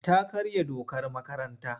Ta karya dokar makaranta.